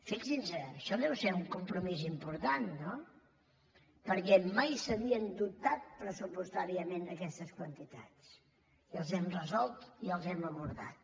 fixin se això deu ser un compromís important no perquè mai s’havien dotat pressupostàriament aquestes quantitats i els hem resolt i els hem abordat